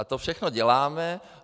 A to všechno děláme.